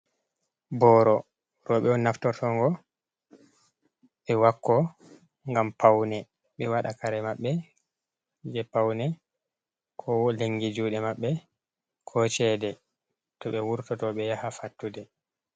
Boro roɓe on naftortogo be wakko ngam pawne, ɓe waɗa kare maɓɓe je paune ko lengi juɗe maɓɓe, ko cede to ɓe wurtoto be yaha fattude.